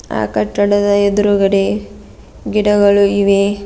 ಆ ಕಟ್ಟಡದ ಎದ್ರುಗಡೆ ಗಿಡಗಳು ಇವೆ.